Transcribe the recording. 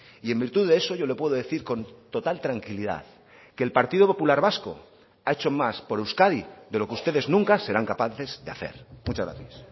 y en virtud de eso yo le puedo decir con total tranquilidad que el partido popular vasco ha hecho más por euskadi de lo que ustedes nunca serán capaces de hacer muchas gracias